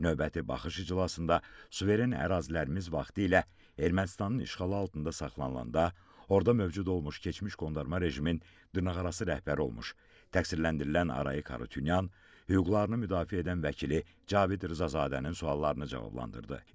Növbəti baxış iclasında suveren ərazilərimiz vaxtilə Ermənistanın işğalı altında saxlanılanda, orada mövcud olmuş keçmiş qondarma rejimin dırnaqarası rəhbəri olmuş təqsirləndirilən Arayik Harutyunyan hüquqlarını müdafiə edən vəkili Cavid Rzazadənin suallarını cavablandırdı.